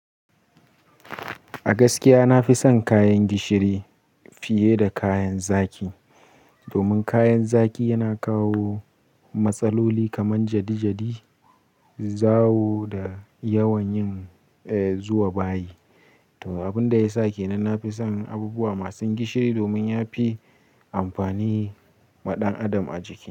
A gaskiya, na fi son kayan gishiri fiye da kayan zaki. Domin kayan zaki yana kawo matsaloli kamar jadi-jadi, zawo da yawan yin, eh, zuwa bayi. To, abin da ya sa ke nan na fi son abubuwa masu gishiri domin ya fi amfani ma ɗan adam a jiki.